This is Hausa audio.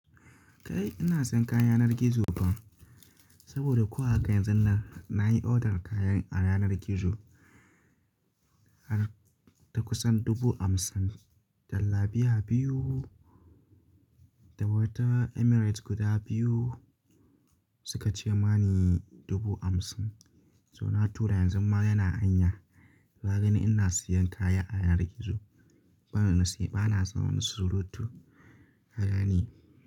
Kai ina sayan kaya yanar gizo ba. Saboda ko haka yanzun nan nayi order kayan a yanar gizo har da kusan dubu hamsin da labiya biyu da wata Emirates guda biyu suka ce mani dubu hamsin. So na tura yanzu ma yana hanya, ka gani ina siyan kaya a yanar gizo. Bana son wasu surutu haka ne.